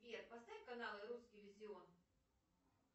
сбер поставь канал русский иллюзион